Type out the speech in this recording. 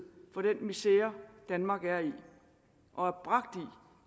for den misere danmark er i og